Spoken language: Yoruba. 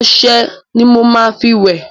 Ọṣẹ ni mo máa tí wẹ̀.